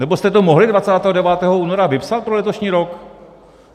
Nebo jste to mohli 29. února vypsat pro letošní rok?